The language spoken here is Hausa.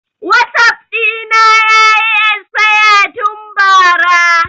Wasap ɗina yayi esfaya tun ba ra